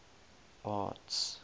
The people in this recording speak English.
arts